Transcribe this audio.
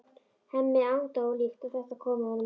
Hemmi er agndofa líkt og þetta komi honum á óvart.